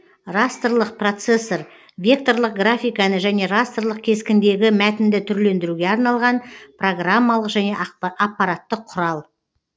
растрлық процессор векторлық графиканы және растрлық кескіндегі мәтінді түрлендіруге арналған программалық және ақпараттық құрал